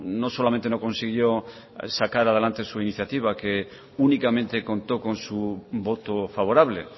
no solamente no consiguió sacar adelante su iniciativa que únicamente contó con su voto favorable